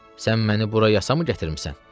Sən məni bura yasamı gətirmisən?